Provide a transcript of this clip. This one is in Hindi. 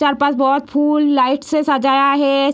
चार-पाँच बहुत फूल लाइट से सजाया है।